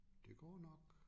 Det går nok